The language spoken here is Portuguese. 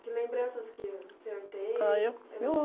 Que lembranças que o senhor tem? Ah, eu